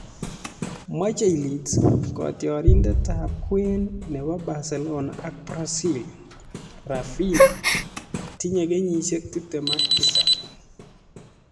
Machei Leeds kotiorindetab kwen nebo Barcelona ak Brazil, Rafinha netinyei kenyisiek tiptem ak tisab